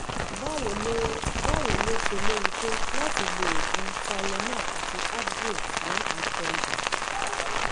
báwo ló báwo ló ṣe léwu tó láti lo oògùn tylenol àti advil fún akọ ibà?